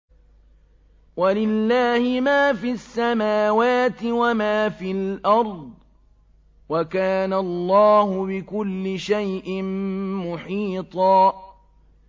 وَلِلَّهِ مَا فِي السَّمَاوَاتِ وَمَا فِي الْأَرْضِ ۚ وَكَانَ اللَّهُ بِكُلِّ شَيْءٍ مُّحِيطًا